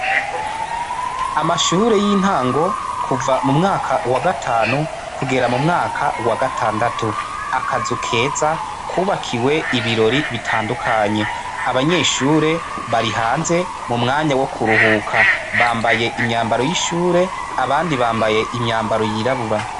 Amashuri y'intango kuva mu mwaka wa gatanu kugera mu mwaka wa gatandatu akazu keza kubakiwe ibirori bitandukanye âbanyeshuri bari hanze mu mwanya wo kuruhuka bambaye imyambaro yishure abandi bambaye imyambaro yirabura.